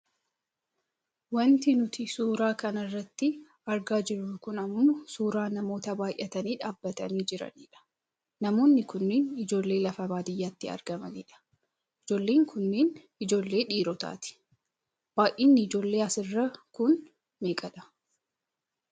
Wanti nuti suura kana irratti argaa jirru kun ammoo suuraa namoota baayyatanii dhaabbatanii jiraniidha. Namoonni kunneen ijoollee lafa baadiyyaatti argamanidha. Ijoolleen kun ijoollee dhiirotaati. Baayyinni ijoollee asirraa kun meeqa dha?